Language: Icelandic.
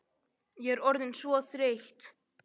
Ég er orðin svo þreytt.